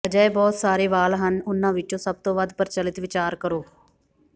ਅਜਿਹੇ ਬਹੁਤ ਸਾਰੇ ਵਾਲ ਹਨ ਉਨ੍ਹਾਂ ਵਿਚੋਂ ਸਭ ਤੋਂ ਵੱਧ ਪ੍ਰਚਲਿਤ ਵਿਚਾਰ ਕਰੋ